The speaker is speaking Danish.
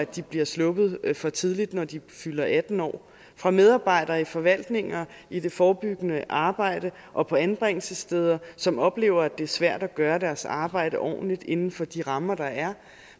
de bliver sluppet for tidligt når de fylder atten år fra medarbejdere i forvaltninger i det forebyggende arbejde og på anbringelsessteder som oplever at det er svært at gøre deres arbejde ordentligt inden for de rammer der er